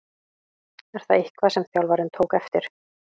Er það eitthvað sem þjálfarinn tók eftir?